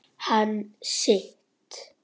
Hann sitt.